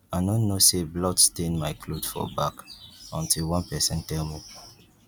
i no know say blood stain my cloth for back until one person tell me